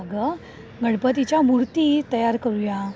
अगं गणपतीच्या मूर्ती तयार करूया.